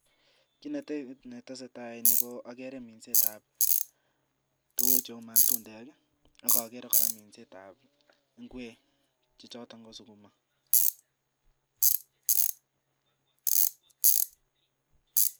ki netesetai ni ko ageere minset ap tugukcheu matundek akageere kora minset ap ngwek che chootok ko sukuma